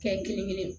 Kɛ kelen kelen